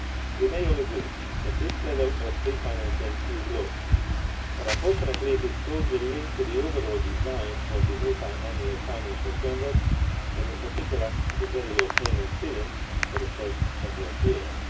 We may all agree that this level of pre financing is low, but unfortunately it is closely linked to the overall design of the multiannual financial framework and in particular to the very low payment ceiling for the first couple of years.